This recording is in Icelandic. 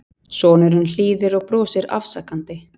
Sonurinn hlýðir og brosir afsakandi.